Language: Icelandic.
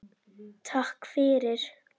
Takk fyrir.